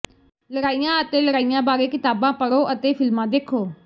ਲੜਾਈਆਂ ਅਤੇ ਲੜਾਈਆਂ ਬਾਰੇ ਕਿਤਾਬਾਂ ਪੜ੍ਹੋ ਅਤੇ ਫਿਲਮਾਂ ਦੇਖੋ